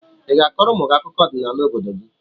I ga-akọrọ ụmụ gị akụkọ ọdịnala obodo gị?